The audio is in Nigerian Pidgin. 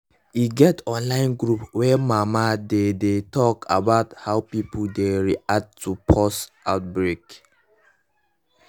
e get one online group wey mama dey dey talk about how pipo dey react to pause outbreak